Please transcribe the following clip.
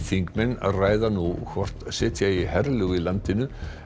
þingmenn ræða nú hvort setja eigi herlög í landinu